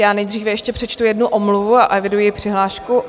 Já nejdříve ještě přečtu jednu omluvu a eviduji přihlášku.